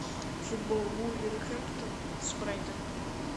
футбол вулверхэмптон с брайтоном